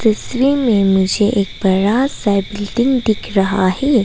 में मुझे एक बड़ा सा दिख रहा है।